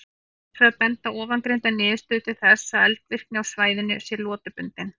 Hins vegar benda ofangreindar niðurstöður til þess að eldvirkni á svæðinu sé lotubundin.